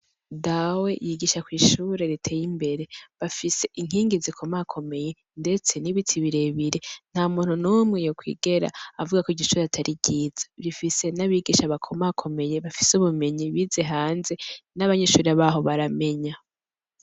Dawe yigisha kwishure riteye imbere bafise inkingi zikomakomeye ndetse n' ibiti birebire nta muntu numwe yokwigera avuga ko iryo shure atari ryiza rifise n' abigisha bakomakomeye bafise ubumenyi bize hanze n' abanyeshuri baho baramenya.